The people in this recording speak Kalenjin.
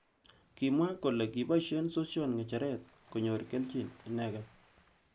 Kimwa kole kiboishe sosion ngecheret konyor keljin inegei.